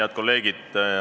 Head kolleegid!